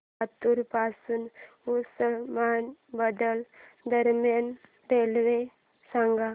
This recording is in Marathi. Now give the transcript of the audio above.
लातूर पासून उस्मानाबाद दरम्यान रेल्वे सांगा